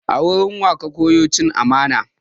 A wurin wa ka koya cin amana?